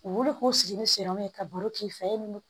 U wuli k'u sigi ni siro ye ka baro k'i fɛ ye